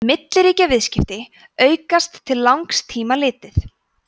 milliríkjaviðskipti aukast til langs tíma litið